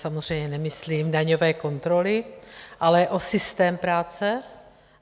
Samozřejmě nemyslím daňové kontroly, ale o systém práce?